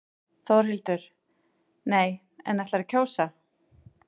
Þórhildur: Nei, en ætlarðu að kjósa?